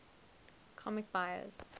comics buyer s